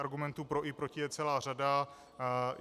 Argumentů pro i proti je celá řada.